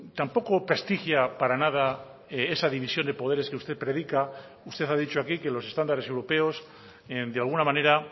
tampoco prestigia para nada esa división de poderes que usted predica usted ha dicho aquí que los estándares europeos de alguna manera